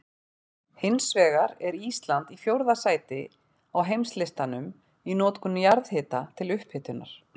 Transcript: Hins vegar er Ísland í fjórða sæti á heimslistanum í notkun jarðhita til upphitunar.